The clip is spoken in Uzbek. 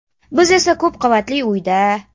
Biz esa ko‘p qavatli uyda.